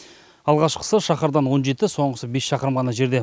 алғашқысы шаһардан он жеті соңғысы бес шақырым ғана жерде